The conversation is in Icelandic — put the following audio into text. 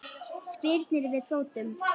Spyrnir við fótum.